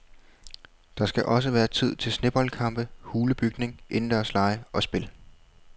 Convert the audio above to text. Der skal også være tid til sneboldkampe, hulebygning, indendørslege og spil.